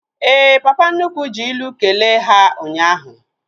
Éè, papa nnukwu ji ilu kelee ha ụnyaahụ